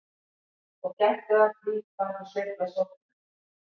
Og gættu að því hvar þú sveifla sópnum.